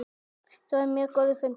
Þetta var mjög góður fundur.